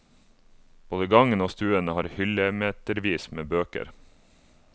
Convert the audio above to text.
Både gangen og stuen har hyllemetervis med bøker.